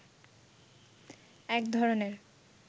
এক ধরনের